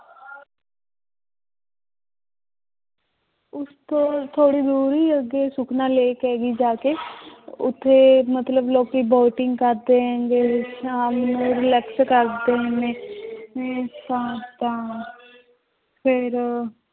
ਉਸ ਤੋਂ ਥੋੜ੍ਹੀ ਦੂਰ ਹੀ ਅੱਗੇ ਸੁਖਨਾ lake ਹੈਗੀ ਜਾ ਕੇ ਉੱਥੇ ਮਤਲਬ ਲੋਕੀ boating ਕਰਦੇ ਹੈਗੇ ਸ਼ਾਮ ਨੂੰ relax ਕਰਦੇ ਨੇ ਤਾਂ ਤਾਂ ਫਿਰ